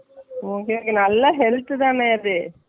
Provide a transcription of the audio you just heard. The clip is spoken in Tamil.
okay okay நல்ல health தான்னா அது